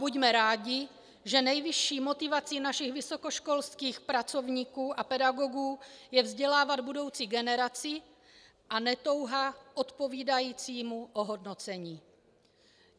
Buďme rádi, že nejvyšší motivací našich vysokoškolských pracovníků a pedagogů je vzdělávat budoucí generaci, a ne touha odpovídajícímu ohodnocení.